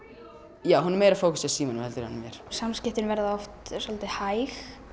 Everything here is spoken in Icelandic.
já hún er meira að fókusa á símann en mig samskiptin verða oft svolítið hæg